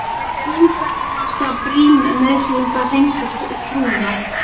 Guðs vegna var það brýn nauðsyn að hreinsa trúna.